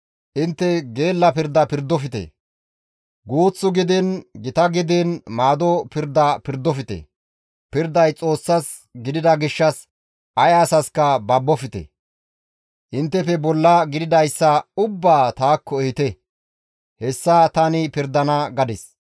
Intte gela pirda pirdofte; guuth gidiin gita gidiin maado pirda pirdofte; pirday Xoossas gidida gishshas ay asaska babofte; inttefe bolla gididayssa ubbaa taakko ehite; hessa tani pirdana› gadis.